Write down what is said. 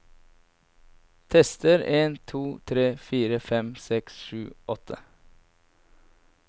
Tester en to tre fire fem seks sju åtte